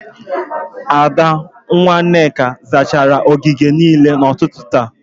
Ada, nwa Nneka zachara ogige niile n'ụtụtụ taa